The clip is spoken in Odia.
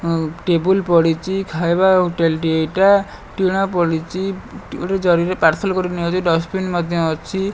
ଆଉ ଟେବୁଲ ପଡ଼ିଚି। ଖାଇବା ହୋଟେଲ୍ ଟିଏ ଏଇଟା। ଟିଣ ପଡ଼ିଚି। ଗୋଟେ ଜରି ରେ ପାର୍ଶଲ୍ କରି ନିଆଯାଉଛି। ଡଷ୍ଟବିନ ମଧ୍ୟ ଅଛି।